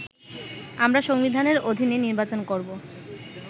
আমরা সংবিধানের অধীনে নির্বাচন করবো।